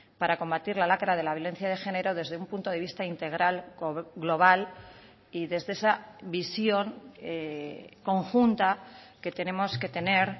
para combatir la lacra de la violencia de género desde un punto de vista integral global y desde esa visión conjunta que tenemos que tener